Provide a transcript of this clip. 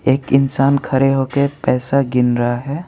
एक इंसान खड़े हो के पैसा गिन रहा है।